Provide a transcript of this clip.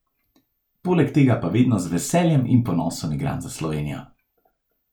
Poleg tega pa vedno z veseljem in ponosom igram za Slovenijo.